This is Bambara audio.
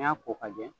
N'i y'a ko ka jɛ